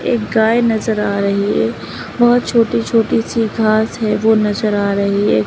एक गाय नजर आ रही है बहुत छोटी छोटी सी घास है वो नजर आ रही है।